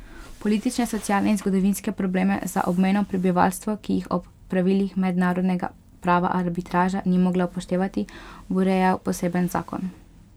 Politične, socialne in zgodovinske probleme za obmejno prebivalstvo, ki jih ob pravilih mednarodnega prava arbitraža ni mogla upoštevati, bo urejal poseben zakon.